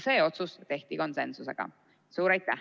Suur aitäh!